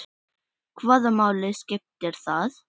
Hvaða máli skiptir það?